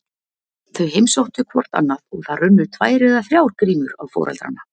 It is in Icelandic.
Þau heimsóttu hvort annað og það runnu tvær eða þrjár grímur á foreldrana.